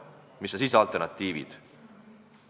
Mis on siis alternatiivid?